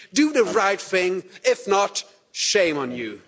Do the right thing, if not, shame on you!